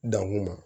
Dan kun ma